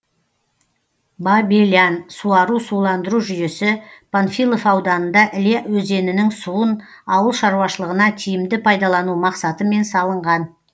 бабелян суару суландыру жүйесі панфилов ауданында іле өзенінің суын ауыл шаруашылығына тиімді пайдалану мақсатымен салынған